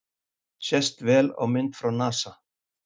Sést vel á mynd frá NASA